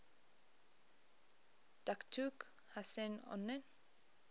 datuk hussein onn